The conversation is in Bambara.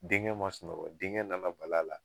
Denkɛ ma sunɔgɔ , denkɛ nana bala a la.